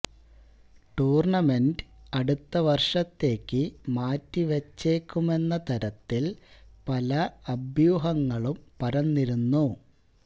tournament അടുത്ത വര്ഷത്തേക്കു മാറ്റി വച്ചേക്കുമെന്ന തരത്തില് പല അഭ്യൂഹങ്ങളും പരന്നിരുന്നു